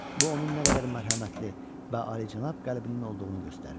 Bu onun nə qədər mərhəmətli və alicənab qəlbinin olduğunu göstərir.